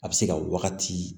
A bɛ se ka wagati